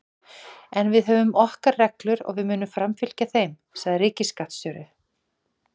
En við höfum okkar reglur og við munum framfylgja þeim, sagði ríkisskattstjóri